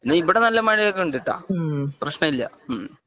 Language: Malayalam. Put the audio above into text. എന്നാൽ ഇവിടെ നല്ല മഴ ഒക്കെ ഉണ്ട് കേട്ടോ പ്രശനം ഇല്ല മ്മ്